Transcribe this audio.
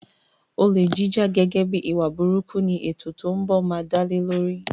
Olè jíjà gẹ́gẹ́ bíi ìwà burúkú ni ètò tó ń bọ̀ máa dálé lórí.